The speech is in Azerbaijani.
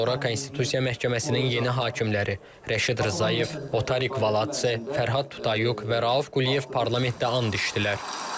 Daha sonra Konstitusiya Məhkəməsinin yeni hakimləri Rəşid Rzayev, Otariq Valats, Fərhad Tutayuq və Rauf Quliyev parlamentdə and içdilər.